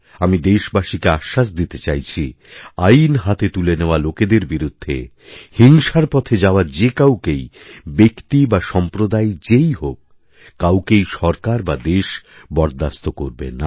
আমি দেশবাসীকে আশ্বাস দিতে চাইছি আইনহাতে তুলে নেওয়া লোকেদের বিরুদ্ধে হিংসার পথে যাওয়া যে কাউকেই ব্যক্তি বাসম্প্রদায় যেই হোক কাউকেই সরকার বা দেশ বরদাস্ত করবে না